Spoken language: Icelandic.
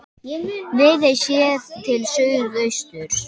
Viðey séð til suðausturs.